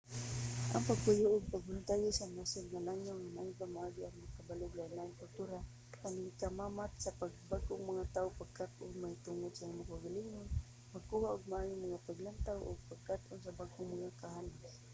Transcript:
ang pagpuyo ug pagboluntaryo sa nasod nga langyaw maayong pamaagi aron makabalo og lainlaing kultura pakighimamat sa bag-ong mga tawo pagkat-on mahitungod sa imong kaugalingon pagkuha og maayo nga paglantaw ug pag-angkon og bag-ong mga kahanas